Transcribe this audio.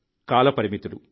కాలపరిమితులు